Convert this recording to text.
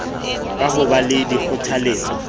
ka ho ba le dikgothaletso